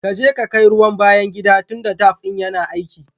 Kaji ka kai ruwa cikin bayan gida dunta tap ɗin yana aiki.